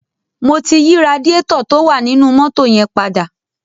Mo ti yí radiátọ̀ tó wà nínú mọ́tò yẹn padà.